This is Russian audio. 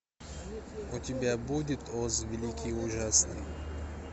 у тебя будет оз великий и ужасный